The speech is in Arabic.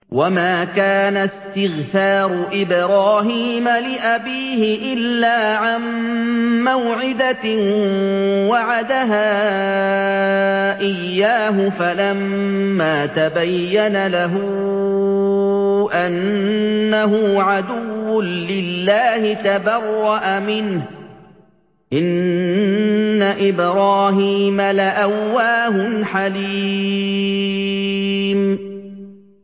وَمَا كَانَ اسْتِغْفَارُ إِبْرَاهِيمَ لِأَبِيهِ إِلَّا عَن مَّوْعِدَةٍ وَعَدَهَا إِيَّاهُ فَلَمَّا تَبَيَّنَ لَهُ أَنَّهُ عَدُوٌّ لِّلَّهِ تَبَرَّأَ مِنْهُ ۚ إِنَّ إِبْرَاهِيمَ لَأَوَّاهٌ حَلِيمٌ